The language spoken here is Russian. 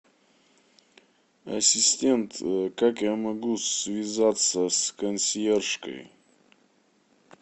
ассистент как я могу связаться с консьержкой